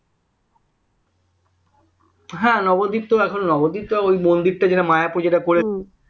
হ্যাঁ নবদ্বীপ তো এখন নবদ্বীপ এই মন্দিরটা যেটা মায়াপুর যেটা করেছে